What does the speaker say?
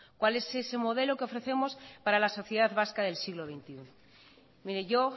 cuál es ese modelo que ofrecemos para la sociedad vasca del siglo veintiuno mire yo